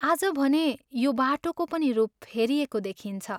आज भने यो बाटोको पनि रूप फेरिएको देखिन्छ।